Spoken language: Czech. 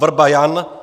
Vrba Jan